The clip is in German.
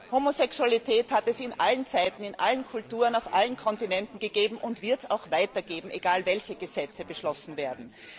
Homosexualität hat es zu allen Zeiten in allen Kulturen auf allen Kontinenten gegeben und wird es auch weiterhin geben, egal welche Gesetze beschlossen werden.